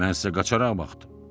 Mən sizə qaçaraq baxdım.